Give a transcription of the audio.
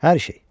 Hər şey.